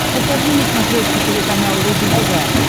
покажи на смотрешке телеканал рубль тв